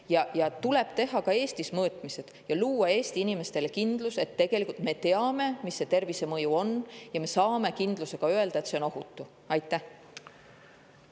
Ka Eestis tuleb teha mõõtmised ja luua Eesti inimestele kindlus, et me teame, mis see tervisemõju on, ja me saame kindlusega öelda, et on ohutu.